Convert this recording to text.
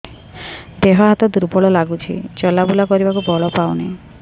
ଦେହ ହାତ ଦୁର୍ବଳ ଲାଗୁଛି ଚଲାବୁଲା କରିବାକୁ ବଳ ପାଉନି